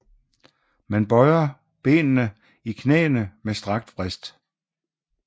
Man bøjer benene i knæene med strakt vrist